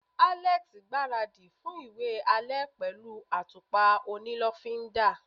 Alex gbaradi fún iwe ale pẹlu atupa oni lofinda